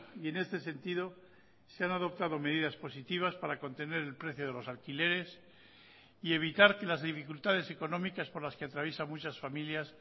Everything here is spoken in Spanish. y en este sentido se han adoptado medidas positivas para contener el precio de los alquileres y evitar que las dificultades económicas por las que atraviesan muchas familias